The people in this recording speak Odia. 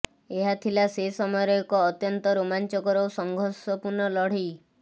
ଏହାଥିଲା ସେ ସମୟର ଏକ ଅତ୍ୟନ୍ତ ରୋମାଞ୍ଚକର ଓ ସଂଘର୍ଷପୂର୍ଣ୍ଣ ଲଢ଼େଇ